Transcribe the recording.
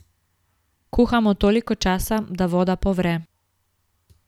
Kuhamo toliko časa, da voda povre.